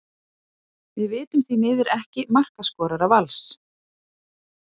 Við vitum því miður ekki markaskorara Vals.